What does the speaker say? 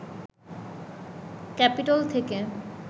Capitol থেকে